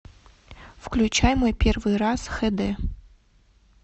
включай мой первый раз хэ дэ